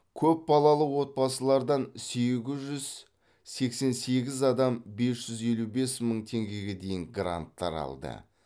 көп балалы отбасылардан сегіз жүз сексен сегіз адам бес жүз елу бес мың теңгеге дейін гранттар алды